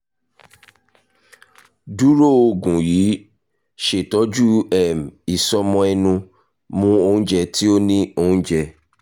duro oogun yii ṣetọju um isọmọ ẹnu mu ounjẹ ti o ni ounjẹ